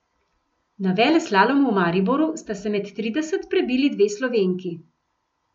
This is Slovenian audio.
Na veleslalomu v Mariboru sta se med trideset prebili dve Slovenki.